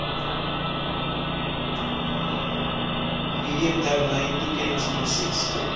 medium termyn toekenningsproses